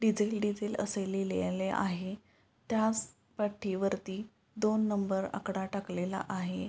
Diesel diesel असे लिहिलेले आहे त्याच पट्टीवरती दोन नंबर आकडा टाकलेला आहे.